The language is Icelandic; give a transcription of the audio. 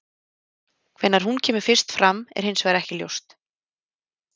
Hvenær hún kemur fyrst fram er hins vegar ekki ljóst.